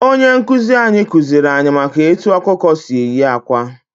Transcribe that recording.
Onye nkuzi anyị kuziri anyị maka etu ọkụkọ si eyi akwa.